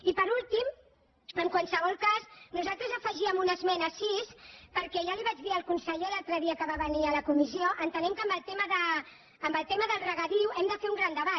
i per últim en qualsevol cas nosaltres afegíem una esmena sis perquè ja li ho vaig dir al conseller l’altre dia que va venir a la comissió entenem que amb el tema del regadiu hem de fer un gran debat